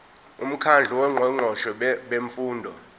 umkhandlu wongqongqoshe bemfundo